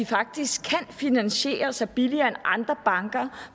faktisk kan finansiere sig billigere end andre banker